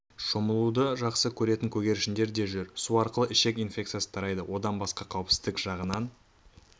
шомылуды жақсы көретін көгершіндер де жүр су арқылы ішек инфекциясы тарайды одан басқа қауіпсіздік жағынан